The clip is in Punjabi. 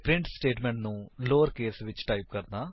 ਅਤੇ ਪ੍ਰਿੰਟ ਸਟੇਟਮੇਂਟ ਨੂੰ ਲੋਅਰ ਕੇਸ ਵਿੱਚ ਟਾਈਪ ਕਰਣਾ